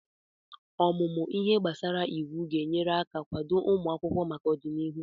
Ọmụmụ ihe gbasara iwu ga-enyere aka kwado ụmụ akwụkwọ maka ọdịnihu.